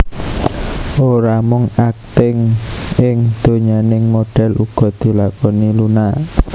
Ora mung akting ing donyaning modhél uga dilakoni Luna